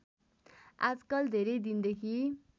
आजकल धेरै दिनदेखि